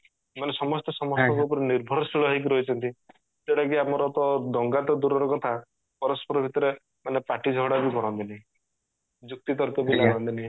ମାନେ ସମସ୍ତେ ସମସ୍ତଙ୍କ ଉପରେ ନିର୍ଭରଶୀଳ ହେଇକି ରହିଚନ୍ତି ଯୋଉଟା କି ଆମର ତ ଦଙ୍ଗା ତ ଦୂରର କଥା ପରସ୍ପର ଭିତରେ ମାନେ ପାଟି ଝଗଡା ବି କରନ୍ତିନି ଯୁକ୍ତି ତର୍କ ବି ଲାଗନ୍ତିନି